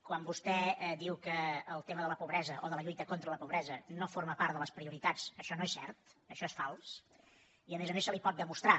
quan vostè diu que el tema de la pobresa o de la lluita contra la pobresa no forma part de les prioritats això no és cert això és fals i a més a més se li pot demostrar